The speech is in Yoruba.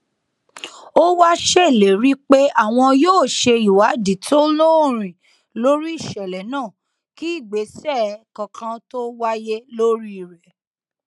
ó wáá ṣèlérí pé àwọn yóò ṣe ìwádìí tó lóòrín lórí ìṣẹlẹ náà kí ìgbésẹ kankan tóo wáyé lórí rẹ